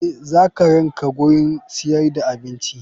Eh zakaranka gurin siyar da abinci.